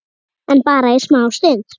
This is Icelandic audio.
En bara í smá stund.